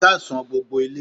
Ẹ káàsán gbogbo ilé